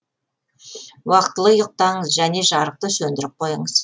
уақытылы ұйықтаңыз және жарықты сөндіріп қойыңыз